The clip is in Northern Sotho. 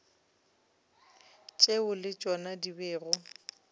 tšeo le tšona di bego